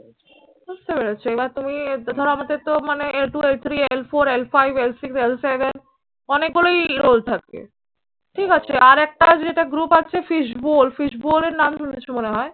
বুঝতে পেরেছ এবার তুমি ধরো আমাদের তো মানে two eight three l four l fivel six l seven অনেকগুলোই role থাকে। ঠিক আছে। আর একটা যেটা group আছে fishboal fishboal এর নাম শুনেছো মনে হয়?